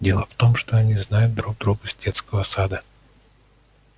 дело в том что они знают друг друга с детского сада